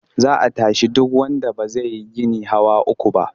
Za a tashi duk wanda ba zai yi gini hawa uku ba.